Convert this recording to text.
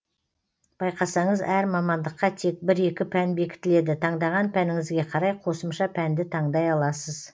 байқасаңыз әр мамандыққа тек бір екі пән бекітіледі таңдаған пәніңізге қарай қосымша пәнді таңдай аласыз